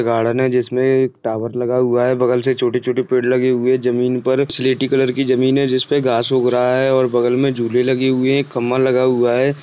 Garden जिसमे tower लगा हुआ है बगल से छोटे-छोटे पेड़ लगे हुए है जमीन पर सिलेटी कलर की जमीन है जिसमे घास उग रहा है और बगल में झूले लगे हुए है एक खम्बा लगा हुआ है।